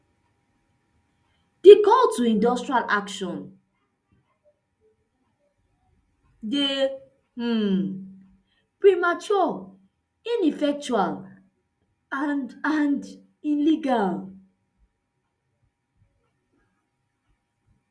di call to industrial action dey um premature ineffectual and and illegal